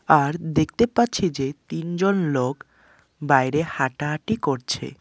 আর দেখতে পাচ্ছি যে তিনজন লোক বাইরে হাঁটাহাঁটি করছে।